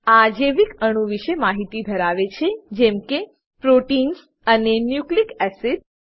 આ જૈવિકઅણુઓ વિષે માહિતી ધરવે છે જેમ કે પ્રોટીન્સ પ્રોટીન્સ અને ન્યુક્લિક એસિડ્સ